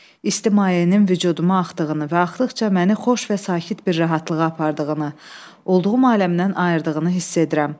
İsti mayenin vücuduma axdığını və axdıqca məni xoş və sakit bir rahatlığa apardığını, olduğum aləmdən ayırdığını hiss edirəm.